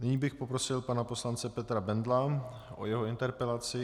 Nyní bych poprosil pana poslance Petra Bendla o jeho interpelaci.